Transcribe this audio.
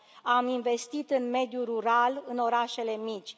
Am investit în mediul rural, în orașele mici.